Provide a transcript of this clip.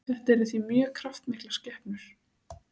þetta eru því mjög kraftmiklar skepnur